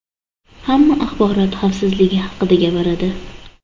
Hamma axborot xavfsizligi haqida gapiradi.